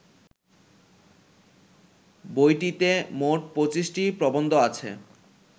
বইটিতে মোট ২৫টি প্রবন্ধ আছে